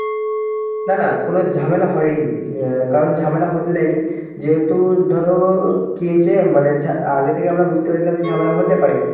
না না কোনো ঝামেলা হয়নি অ্যাঁ কারণ ঝামেলা হতে দেয়নি. যেহেতু ধরো কি হয়েছে মানে আগে থেকে আমরা বুঝতে পেরেছিলাম যে ঝামেলা হতে পারে.